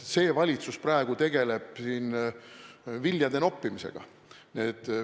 See valitsus praegu tegeleb viljade noppimisega.